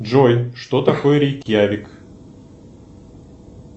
джой что такое рейкьявик